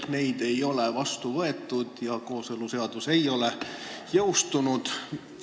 Neid ei ole vastu võetud ja kooseluseadus ei ole jõustunud.